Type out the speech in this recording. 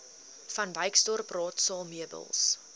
vanwyksdorp raadsaal meubels